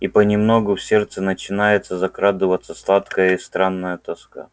и понемногу в сердце начинает закрадываться сладкая и странная тоска